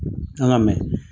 An ka mɛn.